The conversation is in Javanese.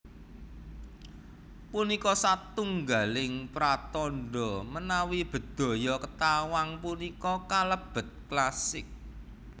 Punika satunggaling pratandha menawi Bedhaya Ketawang punika kalebet klasik